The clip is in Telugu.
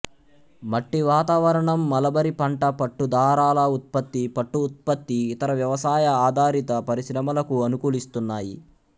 మట్టి వాతావరణం మలబరీ పంట పట్టుదారాల ఉత్పత్తి పట్టు ఉత్పత్తి ఇతర వ్యవసాయ ఆధారిత పరిశ్రమలకు అనుకూలిస్తున్నాయి